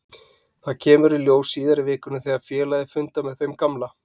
Það kemur í ljós síðar í vikunni þegar félagið fundar með þeim gamla.